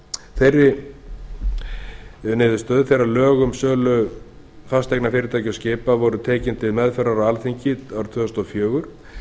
þeirri niðurstöðu þegar lög um sölu fasteigna fyrirtæki og skipa voru tekin til meðferðar hjá alþingi árið tvö þúsund og fjögur